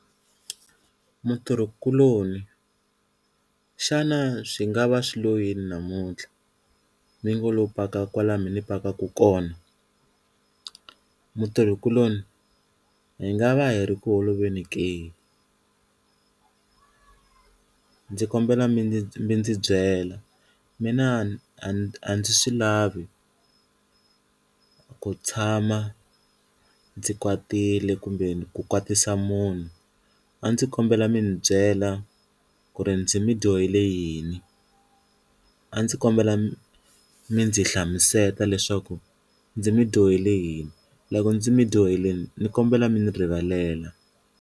Mutirhikuloni xana swi nga va swi lo yini namuntlha mi ngo lo paka kwalano mi na ni pakaka kona mutirhikuloni hi nga va hi ri ku holoveni ndzi kombela mi ni byela mina a ndzi a ndzi swi lavi ku tshama ndzi kwatile kumbe ku kwatisa munhu, a ndzi kombela mi ndzi byela ku ri ndzi mi dyohele yini a ndzi kombela mi ndzi hlamuseta leswaku ndzi mi dyohele yini loko ndzi mi dyohelini ni kombela mi ni rivalela.